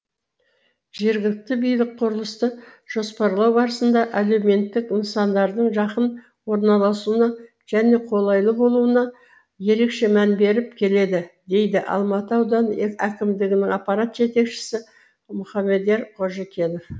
жергілікті билік құрылысты жоспарлау барысында әлеуметтік нысандардың жақын орналасуына және қолайлы болуына ерекше мән беріп келеді дейді алматы ауданы әкімдігінің аппарат жетекшісі мұхамедьяр қожекенов